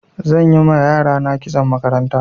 Zan yi ma yarana kitson makaranta.